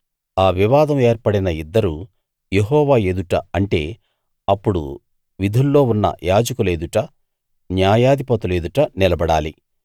ఆ వివాదం ఏర్పడిన ఇద్దరూ యెహోవా ఎదుట అంటే అప్పుడు విధుల్లో ఉన్న యాజకుల ఎదుట న్యాయాధిపతుల ఎదుట నిలబడాలి